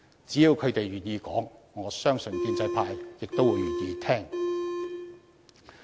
只要他們願意說出來，我相信建制派亦會願意聆聽。